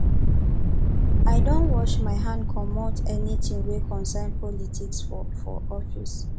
i don wash my hand comot anytin wey concern politics for for office